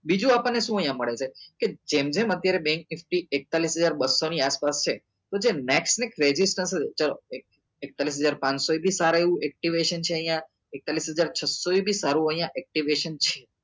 બીજું આપણને શું અહિયાં મળે છે કે જેમ જેમ અત્યારે bank nifty એકતાળીસ હજાર બસ્સો ની આસપાસ છે તો next week શું છે ચલો એકતાલીસ હજાર પાંચસો એ બી સારું activation છે અહિયાં એકતાલીસ હજાર છસો એ બી અહિયાં સારું એવું activation છે